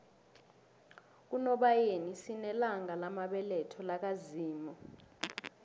kunobayeni sinelanga lamabeletho laka zimu